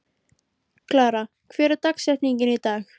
Klara, hver er dagsetningin í dag?